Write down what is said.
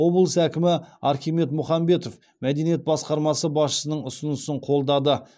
облыс әкімі архимед мұхамбетов мәдениет басқармасы басшысының ұсынысын қолдады